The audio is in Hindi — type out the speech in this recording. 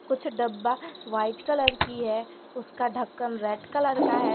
कुछ डब्बा व्हाइट कलर की है उसका ढक्कन रेड कलर का है।